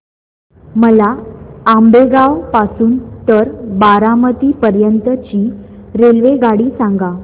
मला आंबेगाव पासून तर बारामती पर्यंत ची रेल्वेगाडी सांगा